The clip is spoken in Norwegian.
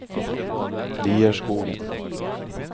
Lierskogen